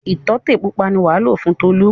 Ìtọ́tẹ̀ pupa ni wàá lò fún Tolú.